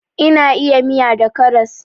Ina iya miya da karas